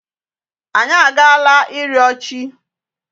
Anyị a agaala ịrịọ chi.